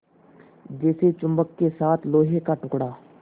जैसे चुम्बक के साथ लोहे का टुकड़ा